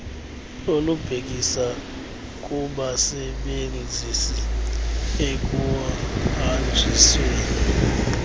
olubhekisa kubasebenzisi ekuhanjisweni